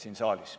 Aitäh!